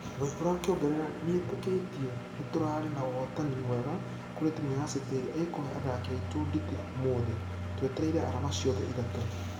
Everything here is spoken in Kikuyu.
Waihura akĩongerera nĩetekĩtie nĩtũrare na ũhotani mwega kũrĩ timũ ya city ĩrĩa ĩkũhe athaki aitũ nditi ũmũthĩ. Twĩtereire arama ciothe ithatũ.